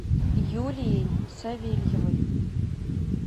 юлией савельевой